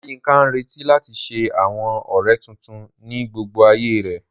Oláyínká ń retí láti ṣe àwọn ọ̀rẹ́ tuntun ní gbogbo ayé rẹ̀